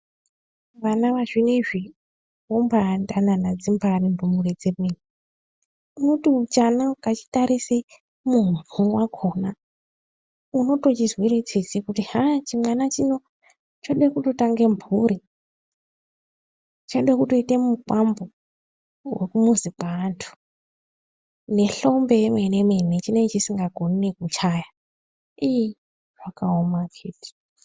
Vana vazvinezvi, vombaa danana dzimbaari ndumure dzemene, unoti chana ukachitarisa muhope mwakhona, unotochizwira tsitsi, kuti chimwana chino, choda kutotanga mphuri, choda kutooita mukwambo wekumuzi kweanthu, nehlombe yemene-mene chinenge chisikaizivi kuchaya, iiih, zvakaoma akhiti.